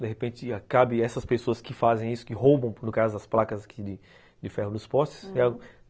De repente, cabe essas pessoas que fazem isso, que roubam, no caso, as placas de ferro dos postes.